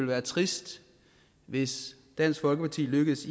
være trist hvis dansk folkeparti lykkedes